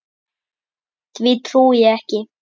Því trúi ég ekki.